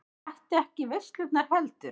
Mætti ekki í veislurnar heldur.